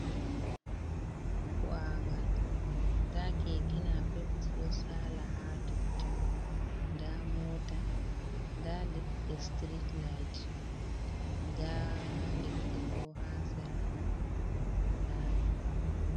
Bo’angal ɗa kekenapeb ji ɗo sala ha tottun ,ɗa mota ɗa leɗɗe street light ɗa leɗɗe ɓo ha sera laɓi.